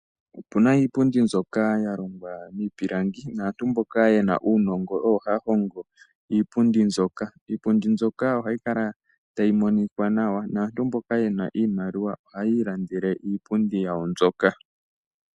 Opuna iipundi mbyoka yahongwa miipilangi, naantu mboka yena uunongo oyo haya hongo iipundi mbyoka. Iipundi mbyoka ohayi kala tayi monika nawa, naantu mboka yena iimaliwa ohayiilandele iipundi yawo mbyoka.